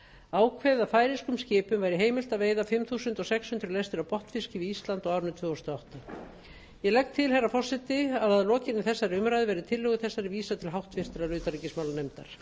ákveðið að færeyskum skipum væri heimilt að veiða fimm þúsund sex hundruð lestir af botnfiski við ísland á árinu tvö þúsund og átta ég legg til herra forseti að lokinni þessari umræðu verði tillögu þessari vísað til háttvirtrar utanríkismálanefndar